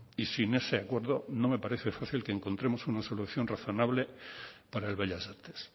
y sin ese acuerdo no me parece fácil que encontremos una solución razonable para el bellas artes